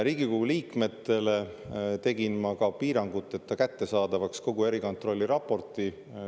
Riigikogu liikmetele tegin ma ka piiranguteta kättesaadavaks kogu erikontrolli raporti.